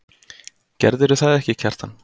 Gerðirðu það ekki, Kjartan?